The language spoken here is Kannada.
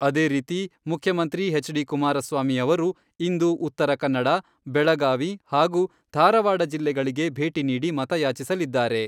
ಅದೇ ರೀತಿ ಮುಖ್ಯಮಂತ್ರಿ ಎಚ್.ಡಿ.ಕುಮಾರಸ್ವಾಮಿ ಅವರು, ಇಂದು ಉತ್ತರಕನ್ನಡ, ಬೆಳಗಾವಿ ಹಾಗೂ ಧಾರವಾಡ ಜಿಲ್ಲೆಗಳಿಗೆ ಭೇಟಿ ನೀಡಿ ಮತಯಾಚಿಸಲಿದ್ದಾರೆ.